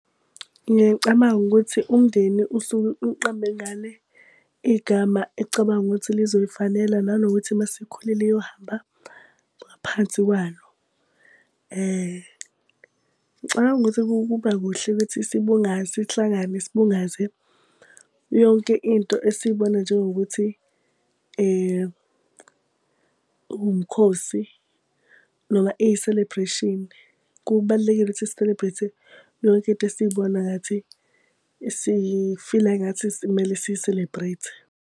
Ngiyacabanga ukuthi umndeni usuke uqamba ingane igama ecabanga ukuthi lizoyifanela nanokuthi uma isikhulile iyohamba ngaphansi kwalo. Ngicabanga ukuthi kuba kuhle ukuthi sibungaze sihlangane sibungaze yonke into esiyibona njengokuthi umkhosi noma iyi-celebration. Kubalulekile ukuthi si-celebrate-e yonke into esiyibona ngathi si-feel-a engathi kumele si-celebrate-e.